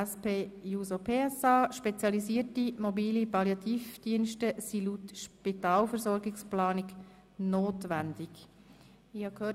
Spezialisierte mobile Palliativdienste sind laut Spitalversorgungsplanung notwendig», eingereicht von